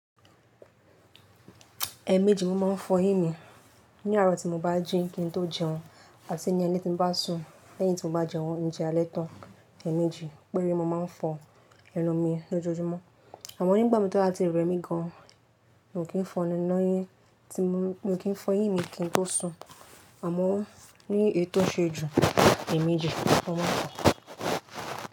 Ẹ̀mẹ́jì mo máa ń fọ yín mi. Ní àárọ̀ tí mo bá ji, kín n tó jẹun àti ní alẹ́ tí n mo bá sùn lẹ́yìn tí mo bá jẹun ń jẹ́ alẹ́ tán. Ẹ̀mẹ́jì péré mo máa ń fọ ẹnu mi lójoojúmọ́ àmọ́ nígbà mi tó láti rẹ́ mi gan an mo mi n kì í fọ ẹnu yín tí mo, mo kì í fọ yín mi kín n tó sùn àmọ́ ní èyii ṣe ju n ni jẹ ǹkankan mo.